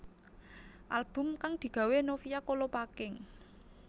Album kang digawé Novia Kolopaking